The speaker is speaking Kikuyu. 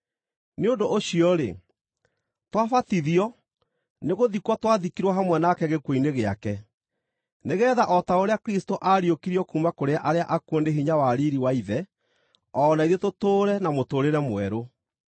Nĩ ũndũ ũcio-rĩ, twabatithio nĩgũthikwo twathikirwo hamwe nake gĩkuũ-inĩ gĩake, nĩgeetha o ta ũrĩa Kristũ aariũkirio kuuma kũrĩ arĩa akuũ nĩ hinya wa riiri wa Ithe, o na ithuĩ tũtũũre na mũtũũrĩre mwerũ.